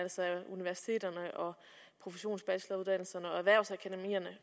universiteterne professionsbacheloruddannelserne